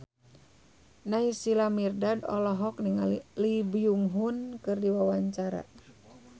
Naysila Mirdad olohok ningali Lee Byung Hun keur diwawancara